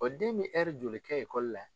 O den be joli kɛ la?